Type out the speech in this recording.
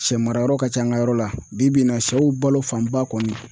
Sɛmarayɔrɔ ka ca an ka yɔrɔ la bi bi in na sɛw balo fanba kɔni